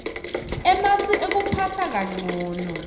emasu ekuphatsa kancono